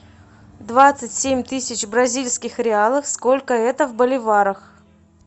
двадцать семь тысяч бразильских реалов сколько это в боливарах